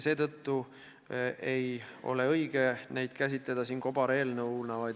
Seetõttu ei ole õige paketti käsitada kobareelnõuna.